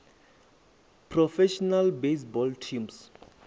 professional baseball teams